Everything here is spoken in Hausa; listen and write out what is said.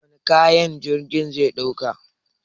Wane kayan jirgin zai dauka?